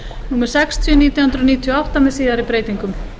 númer sextíu nítján hundruð níutíu og átta með síðari breytingum